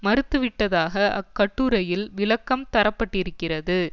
மறுத்துவிட்டதாக அக்கட்டுரையில் விளக்கம் தர பட்டிருக்கிறது